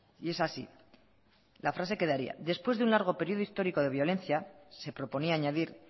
y es así la frase quedaría después de un largo periodo histórico de violencia se proponía a añadir